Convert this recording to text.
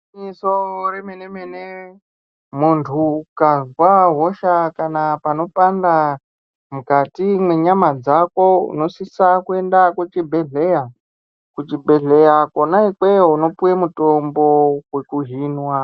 Igwinyiso remene mene munhu ukazwa hosha kana painenge peipanda mukati mwenyama dzako, unosise kuenda kuchibhedhlera. Kuchibhedhlera kwona ikweyo unopuwe mutombo wekuhinwa.